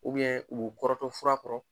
uu kɔrɔtɔ fura kɔrɔ